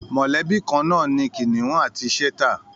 Mọ̀lẹ́bí kan náà ni kìnìún àti Chetta